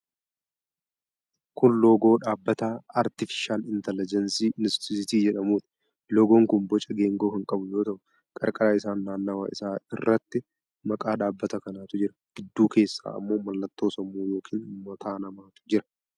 Kun loogoo dhaabbata 'Artifishaal Intelegebsi Inistituut' jedhamuuti. Loogoon kun boca geengoo kan qabu yoo ta'u, qarqara isaan naannawa isaa irratti maqaa dhaabbata kanaatu jira. Gidduu keessa ammoo mallattoo sammuu yookiin mataa namaatu jira.